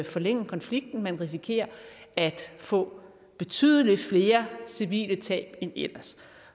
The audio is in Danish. forlænge konflikten man risikerer at få betydelig flere civile tab end ellers